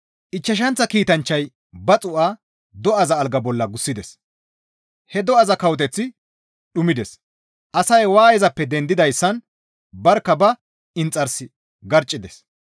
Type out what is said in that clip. Ichchashanththa kiitanchchay ba xuu7a do7aza alga bolla gussides; he do7aza kawoteththi dhumides; asay waayezappe dendidayssan barkka ba inxars garccides.